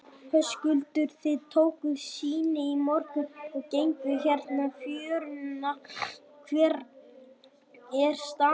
Höskuldur: Þið tókuð sýni í morgun og genguð hérna fjöruna, hver er staðan?